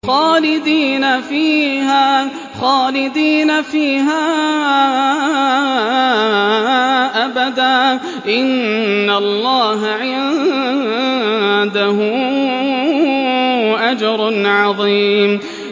خَالِدِينَ فِيهَا أَبَدًا ۚ إِنَّ اللَّهَ عِندَهُ أَجْرٌ عَظِيمٌ